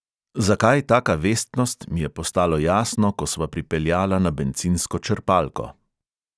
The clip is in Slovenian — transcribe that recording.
Zakaj taka vestnost, mi je postalo jasno, ko sva pripeljala na bencinsko črpalko.